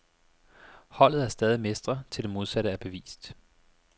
Holdet er stadig mestre, til det modsatte er bevist.